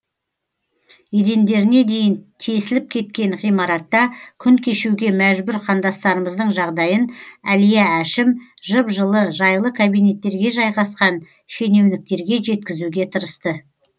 едендеріне дейін тесіліп кеткен ғимаратта күн кешуге мәжбүр қандастарымыздың жағдайын әлия әшім жып жылы жайлы кабинеттерге жайғасқан шенеуніктерге жеткізуге тырысты